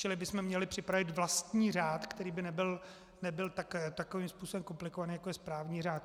Čili bychom měli připravit vlastní řád, který by nebyl takovým způsobem komplikovaný, jako je správní řád.